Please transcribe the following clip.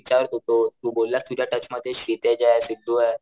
विचारत होतो तू बोलला तुझ्या टच मध्ये सितेशये सिद्धूये